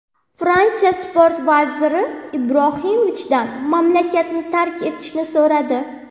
Fransiya Sport vaziri Ibrohimovichdan mamlakatni tark etishni so‘radi.